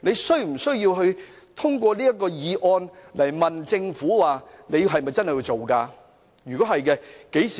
他無需透過這項議案詢問政府："你們是否真的會落實此事呢？